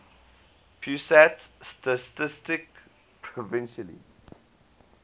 pusat statistik provisionally